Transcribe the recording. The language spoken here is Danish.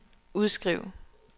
udskriv